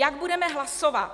Jak budeme hlasovat?